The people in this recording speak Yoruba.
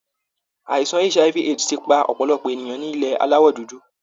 àìsàn HIV AIDS ti pa ọ̀pọ̀lọpọ̀ ènìyàn ní ilẹ̀ Aláwọ̀ dúdú